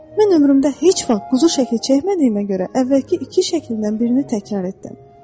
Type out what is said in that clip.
Mən ömrümdə heç vaxt quzu şəkli çəkmədiyimə görə əvvəlki iki şəklindən birini təkrar etdim.